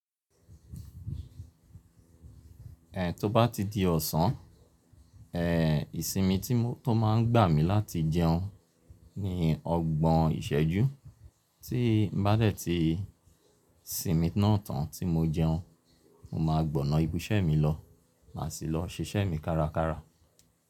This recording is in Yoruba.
Ẹ to bá ti di ọ̀sán, ẹ ìsinmi tí mo tun máa ń gbà mí láti jẹun ni ọgbọ́n ìsẹ́jú. Tí n bá dẹ̀ ti sinmi náà tán tí mo jẹun, mo máa gbọná ibisẹ́ mi lọ, mà sì lọ ṣiṣẹ́ mi kárakára.